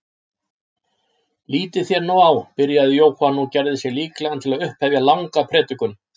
Lítið þér nú á, byrjaði Jóhann og gerði sig líklegan til að upphefja langa predikun.